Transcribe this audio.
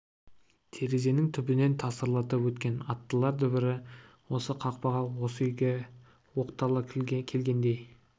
терезенің түбінен тасырлатып өткен аттылар дүбірі осы қақпаға осы үйге оқтала келгендей